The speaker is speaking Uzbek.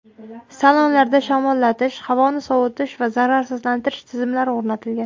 Salonlarda shamollatish, havoni sovitish va zararsizlantirish tizimlari o‘rnatilgan.